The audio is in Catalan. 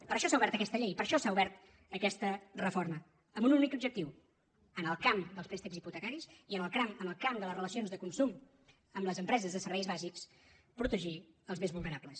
per això s’ha obert aquesta llei per això s’ha obert aquesta reforma amb un únic objectiu en el camp dels préstecs hipotecaris i en el camp de les relacions de consum amb les empreses de serveis bàsics protegir els més vulnerables